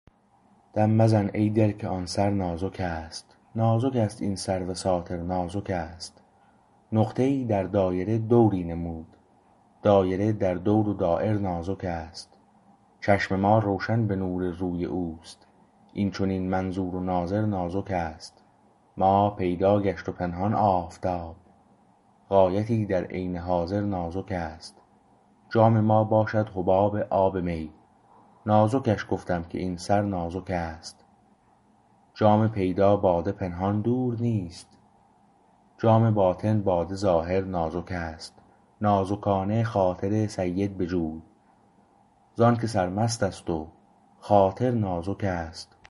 دم مزن ای دل که آن سر نازک است نازک است این سرو ساتر نازک است نقطه ای در دایره دوری نمود دایره در دور و دایر نازک است چشم ما روشن به نور روی اوست این چنین منظور و ناظر نازک است ماه پیدا گشت و پنهان آفتاب غایتی در عین حاضر نازک است جام ما باشد حباب آب می نازکش گفتم که این سر نازک است جام پیدا باده پنهان دور نیست جام باطن باده ظاهر نازک است نازکانه خاطر سید بجوی زانکه سرمست است و خاطر نازکست